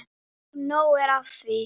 Og nóg er af því.